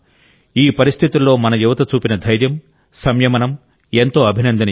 ఈ పరిస్థితుల్లో మన యువత చూపిన ధైర్యం సంయమనం ఎంతో అభినందనీయం